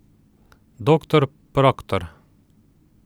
Doktor Proktor!